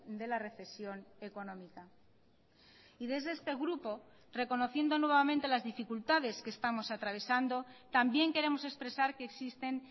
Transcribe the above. de la recesión económica y desde este grupo reconociendo nuevamente las dificultades que estamos atravesando también queremos expresar que existen